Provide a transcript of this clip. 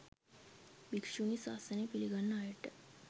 භික්‍ෂුණී ශාසනය පිළිගන්න අයට